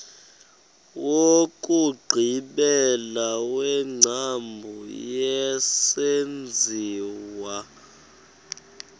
wokugqibela wengcambu yesenziwa